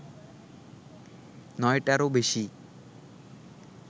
নয়টারও বেশি